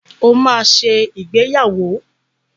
O maá ṣe ìgbéyàwó.